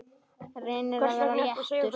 Reynir að vera léttur.